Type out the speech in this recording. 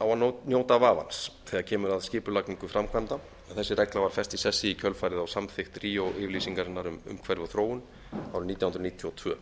á að njóta vafans þegar kemur að skipulagningu framkvæmda en þessi regla var fest í sessi í kjölfarið á samþykkt ríó yfirlýsingarinnar um umhverfi og þróun árið nítján hundruð níutíu og tvö